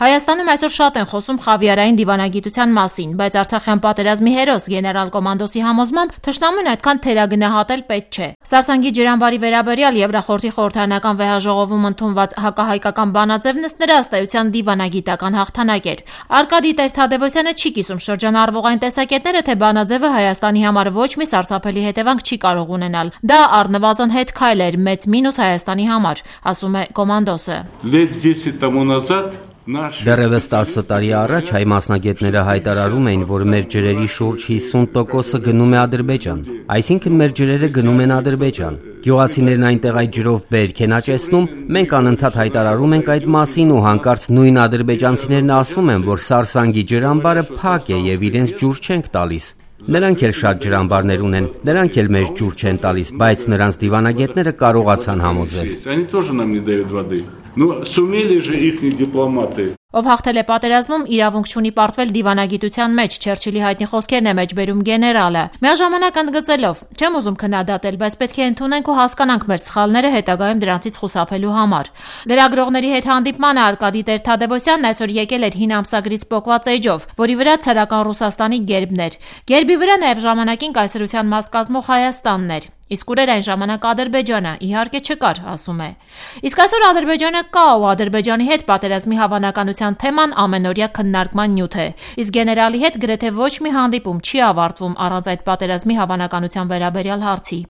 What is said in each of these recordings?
Հայաստանում այսօր շատ են խոսում «Խավիարային դիվանագիտության» մասին, բայց արցախյան պատերազմի հերոս, գեներալ Կոմանդոսի համոզմամբ թշնամուն այդքան թերագնահատել պետք չէ: Սարսանգի ջրամբարի վերաբերյալ ԵԽԽՎ–ում ընդունված հակահայկական բանաձևն, ըստ էության, դիվանագիտական հաղթնակ էր: Արկադի Տեր-Թադևոսյանը չի կիսում շրջանառվող այն տեսակետները, թե բանաձևը Հայաստանի համար ոչ մի սարսափելի հետևանք չի կարող ունենալ: «Դա առնվազն հետ քայլ էր, մեծ մինուս Հայաստանի համար»,-ասում է Կոմանդոսը: «Դեռեւս տասը տարի առաջ հայ մասնագետները հայտարարում էին, որ մեր ջրերի շուրջ 50%-ը գնում է Ադրբեջան: Այսինքն` մեր ջրերը գնում են Ադրբեջան: Գյուղացիներն այնտեղ այդ ջրով բերք են աճեցնում, մենք անընդհատ հայտարարում ենք այդ մասին ու հանկարծ նույն ադրբեջանցիներն ասում են, որ Սարսանգի ջրամբարը փակ է եւ իրենց ջուր չենք տալիս: Նրանք էլ շատ ջրամբարներ ունեն, նրանք էլ մեզ ջուր չեն տալիս, բայց նրանց դիվանագետները կարողացան համոզել»: «Ով հաղթել է պատերազմում, իրավունք չունի պարտվել դիվանագիտության մեջ»,- Չերչիլի հայտնի խոսքերն է մեջբերում գեներալը՝ միաժամանակ ընդգծելով.«Չեմ ուզում քննադատել, բայց պետք է ընդունենք ու հասկականք մեր սխալները հետագայում դրանցից խուսափելու համար»: Լրագրողների հետ հանդիպմանն Արկադի Տեր-Թադևոսյանն այսօր եկել էր հին ամսագրից պոկած էջով, որի վրա ցարական Ռուսաստանի գերբն էր: Գերբի վրա նաև ժամանակին կայսրության մաս կազմող Հայաստանն էր: «Իսկ ուր էր այն ժամանակ Ադրբեջանը, իհարկե չկար»,-ասում է: Իսկ այսօր Ադրբեջանը կա ու Ադրբեջանի հետ պատերազմի հավանականության թեման ամենաօրյա քննարման նյութ է, իսկ գեներալի հետ գրեթե ոչ մի հանդիպում չի ավարտվում առանց այդ պատերազմի հավանականության վերաբերյալ հարցի: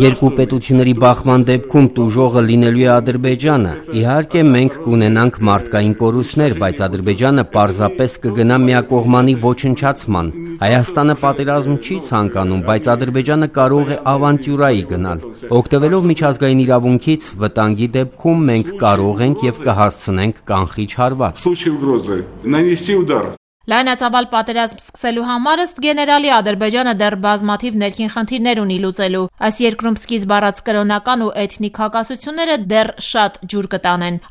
«Երկու պետությունների բախման դեպքում տուժողը լինելու է Ադրբեջանը: Իհարկե մենք կունենանք մարդկային կորուստներ, բայց Ադրբեջանը պարզապես կգնա միակողմանի ոչնչացման: Հայաստանը պատերազմ չի ցանկանում, բայց Ադրբեջանը կարող է ավանտյուրայի գնալ: Օգտվելով միջազգային իրավունքից, վտանգի դեպքում մենք կարող ենք և կհասցնենք կանխիչ հարված»: Լայնածավալ պատերազմ սկսելու համար, ըստ գեներալի, Ադրբեջանը դեռ բազմաթիվ ներքին խնդիրներ ունի լուծելու: Սկիզբ առած կրոնական ու էթնիկ հակասություններն այստեղ դեռ շատ ջուր կտանեն: